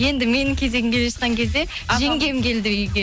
енді менің кезегім келе жатқан кезде жеңгем келді үйге